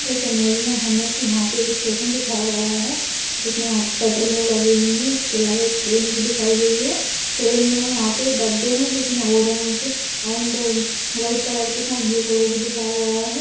इस इमेज में हमें यहाँं पे एक स्टेशन दिखाया गया है। जिसमे यहाँं पटरिया लगी हुई है। इसके अलावा एक ट्रेन भी दिखाई गई है। ट्रेन में यहाँं पे डब्बे हैं। जिसमे ओरेंज़ एंड व्हाइट कलर के साथ ब्लू कलर भी दिखाया गया है।